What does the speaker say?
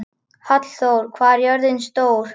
Hallþór, hvað er jörðin stór?